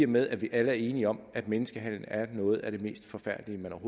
med at vi alle er enige om at menneskehandel er noget af det mest forfærdelige man